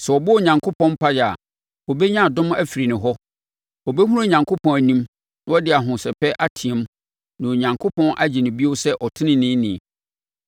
Sɛ ɔbɔ Onyankopɔn mpaeɛ a, ɔbɛnya adom afiri ne hɔ, ɔbɛhunu Onyankopɔn anim na ɔde ahosɛpɛ ateam na Onyankopɔn agye no bio sɛ ɔteneneeni.